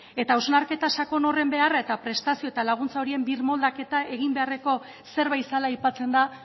eta hausnarketa sakon horren beharra eta prestazio eta laguntza horien birmoldaketa egin beharreko zerbait zela aipatzen da